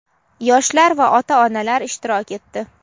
yoshlar va ota-onalar ishtirok etdi.